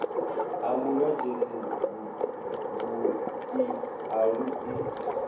ha vhulwadze vhuḓi ha luḓi